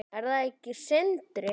Er það ekki Sindri?